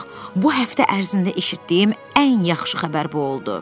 Bax, bu həftə ərzində eşitdiyim ən yaxşı xəbər bu oldu!